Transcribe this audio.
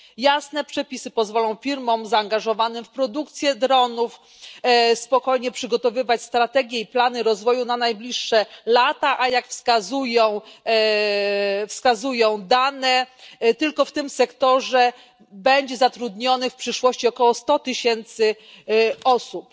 Jasne przepisy pozwolą firmom zaangażowanym w produkcję dronów spokojnie przygotowywać strategie i plany rozwoju na najbliższe lata, a, jak wskazują dane, tylko w tym sektorze będzie zatrudnionych w przyszłości około 100 tysięcy osób.